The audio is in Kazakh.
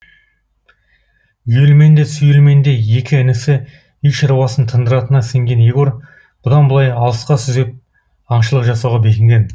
үйелменді сүйелменді екі інісі үй шаруасын тындыратынына сенген егор бұдан былай алысқа сүзеп аңшылық жасауға бекінген